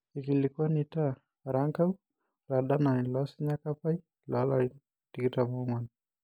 Eikilikuanuta Erankau oladalani loosinya Kapai, lolarin 24